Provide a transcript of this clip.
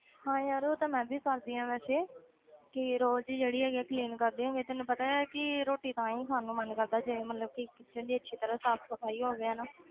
ਹਾਂ ਯਾਰ ਉਹ ਤਾਂ ਮੈਂ ਵੀ ਕਰਦੀ ਹਾਂ ਵੈਸੇ ਕਿ ਰੋਜ਼ ਜਿਹੜੀ ਹੈਗੀ ਹੈ clean ਕਰਦੀ ਹੈਗੀ ਤੈਨੂੰ ਪਤਾ ਹੈ ਕਿ ਰੋਟੀ ਤਾਂ ਹੀ ਖਾਣ ਨੂੰ ਮਨ ਕਰਦਾ ਜੇ ਮਤਲਬ ਕਿ kitchen ਦੀ ਅੱਛੀ ਤਰ੍ਹਾਂ ਸਾਫ਼ ਸਫ਼ਾਈ ਹੋਵੇ ਹਨਾ